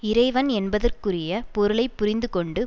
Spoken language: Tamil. இறைவன் என்பதற்குரிய பொருளை புரிந்து கொண்டு